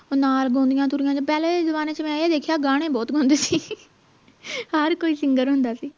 ਨਾਲ ਤੁਰੀਆਂ ਪਹਿਲੇ ਜਮਾਨੇ ਚ ਮੈਂ ਇਹ ਦੇਖਿਆ ਗਾਣੇ ਬਹੁਤ ਗਾਉਂਦੇ ਸੀ ਹਰ ਕੋਈ ਸਿੰਗਰ ਹੁੰਦਾ ਸੀ